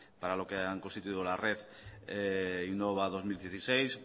para lo que han constituido la red innova dos mil dieciséis